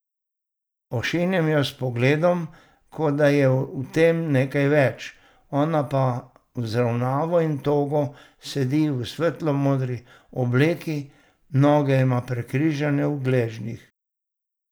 Ošinem jo s pogledom, kot da je v tem nekaj več, ona pa vzravnano in togo sedi v svetlo modri obleki, noge ima prekrižane v gležnjih.